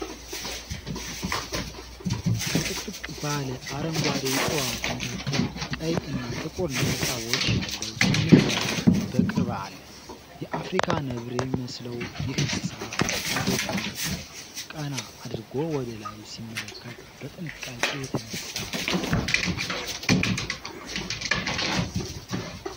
ከጥቅጥቅ ባለ አረንጓዴ ዕፅዋት መካከል ቀይ እና ጥቁር ነጠብጣቦች ያለው ትንሽ ነብር በቅርብ አለ። የአፍሪካ ነብር የሚመስለው ይህ እንስሳ አንገቱን ቀና አድርጎ ወደ ላይ ሲመለከት በጥንቃቄ የተነሳ ጥራት ያለው ፎቶ ነው።